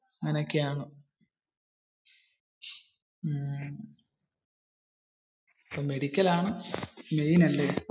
അങ്ങനെ ഒക്കെ ആണ്. മെഡിക്കൽ ആൺ main അല്ലെ?